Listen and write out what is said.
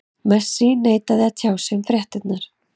Messi neitaði að tjá sig um fréttirnar.